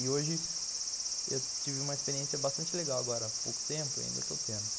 E hoje eu tive uma experiência bastante legal agora, há pouco tempo ainda, eu estou tendo.